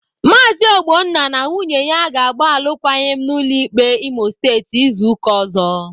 Maazi Ogbonna na nwunye ya ga-agba alụkwaghịm n'ụlọ ikpe Imo Steeti izu ụka ọzọ.